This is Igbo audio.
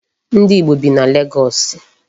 Ndi Igbo bi na Legọọsị.